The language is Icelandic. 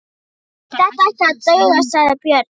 Þetta ætti að duga, sagði Björn.